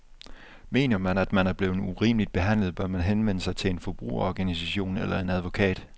Mener man, at man er blevet urimeligt behandlet, bør man henvende sig til en forbrugerorganisation eller en advokat.